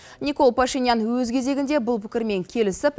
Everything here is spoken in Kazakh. никол пашенян өз кезегінде бұл пікірмен келісіп